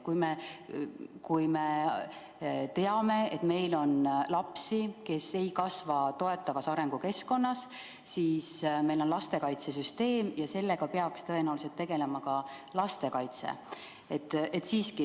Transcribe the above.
Aga kui me teame, et meil on lapsi, kes ei kasva toetavas arengukeskkonnas, siis meil on lastekaitsesüsteem ja sellega peaks tõenäoliselt tegelema just lastekaitse.